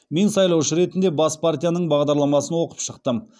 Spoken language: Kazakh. мен сайлаушы ретінде бас партияның бағдарламасын оқып шықтым